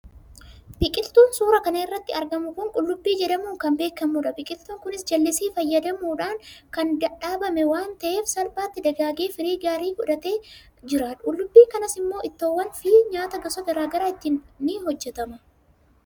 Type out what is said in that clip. biqiltuun suuraa kana irratti argamu kun qullubbii jedhamuun kan beekamudha. biqiltuun kunis jallisii fayyadamuun kan dhaabame waan ta'eef salphaatti dagaagee firii gaarii godhatee jira. qullibbii kanas immoo ittoowwaniifi nyaata gosa gara garaa ittiin ni hojjetama.